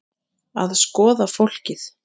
Að skoða fólkið.